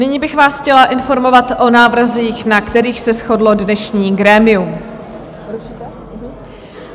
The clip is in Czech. Nyní bych vás chtěla informovat o návrzích, na kterých se shodlo dnešní grémium.